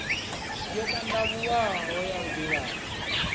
yo tandavhuwaho ya u divhadza